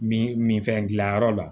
Min min fɛn dilanyɔrɔ la